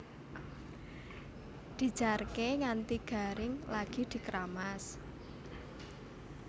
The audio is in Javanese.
Dijarké nganti garing lagi dkeramas